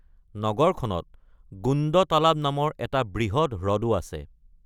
নগৰখনত গোণ্ড তালাব নামৰ এটা বৃহৎ হ্ৰদো আছে।